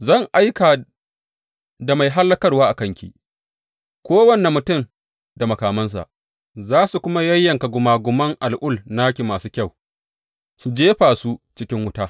Zan aika da mai hallakarwa a kanki, kowane mutum da makamansa, za su kuma yayyanka gumaguman al’ul na ki masu kyau su jefa su cikin wuta.